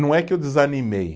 Não é que eu desanimei.